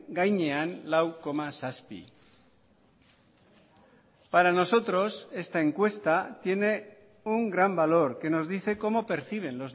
gainean lau koma zazpi para nosotros esta encuesta tiene un gran valor que nos dice cómo perciben